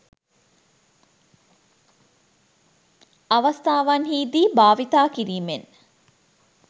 අවස්ථාවන්හි දී භාවිතා කිරීමෙන්